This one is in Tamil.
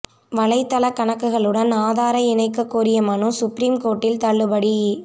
வலைதள கணக்குகளுடன் ஆதாரை இணைக்க கோரிய மனு சுப்ரீம் கோர்ட்டில் தள்ளுபடி